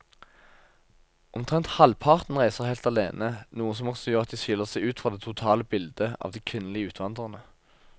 Omtrent halvparten reiser helt alene, noe som også gjør at de skiller seg ut fra det totale bildet av de kvinnelige utvandrerne.